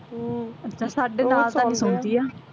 ਹਮ ਅੱਛਾ ਸਾਡੇ